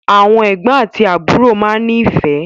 Àwọn ẹgbọn àti àbúrò máa n ni ifẹ.